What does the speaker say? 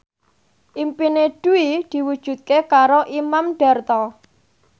impine Dwi diwujudke karo Imam Darto